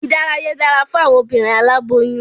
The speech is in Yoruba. Ìdárayá dára fún awọn obinrin aláboyún